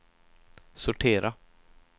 sortera